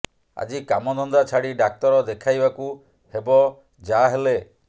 ଆଜି କାମ ଧନ୍ଦା ଛାଡି ଡାକ୍ତର ଦେଖାଇବାକୁ ହେବ ଯାହେଲେ